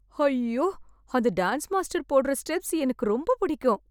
ஹைய்யோ... அந்த dance master போட்ற steps எனக்கு ரொம்ப பிடிக்கும்.